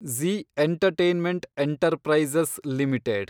Zee entertainment enterprises limited